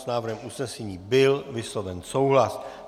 S návrhem usnesení byl vysloven souhlas.